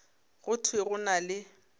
go thwe go na le